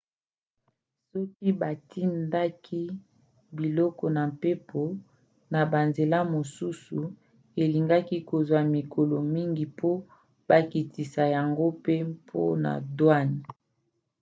soki batindaki biloko na mpepo na banzela mosusu elingaki kozwa mikolo mingi po bakitisa yango pe mpona douanes